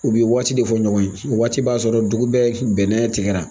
U bɛ waati de fɔ ɲɔgɔn ye waati b'a sɔrɔ dugu bɛɛ bɛnna tigɛ la